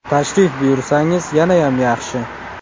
Tashrif buyursangiz yanayam yaxshi.